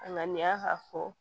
A ŋaniya ka fɔ